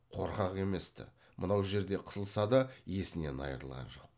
қорқақ еместі мынау жерде қысылса да есінен айырылған жоқ